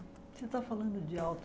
Você está falando de